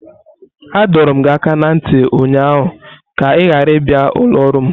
Adọrum gi aka na nti ụnyaahụ ka ị ghara ịbịa ụlọ ọrụ m!